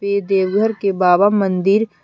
ये देवघर के बाबा मंदिर--